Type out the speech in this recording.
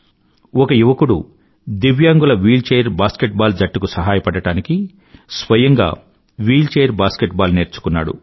ఒక యువకుడు దివ్యాంగుల వీల్చెయిర్ బాస్కెట్బాల్ జట్టుకు సహాయపడడానికి స్వయంగా వీల్చెయిర్ బాస్కెట్బాల్ నేర్చుకున్నాడు